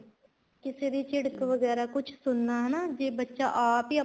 ਕਿਸੇ ਦੀ ਝਿੜਕ ਵਗੈਰਾ ਕੁੱਛ ਸੁਣਨਾ ਹਨਾਂ ਜ਼ੇ ਬੱਚਾ ਆਪ ਹੀ